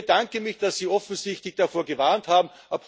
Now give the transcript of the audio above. Also ich bedanke mich, dass Sie offensichtlich davor gewarnt haben.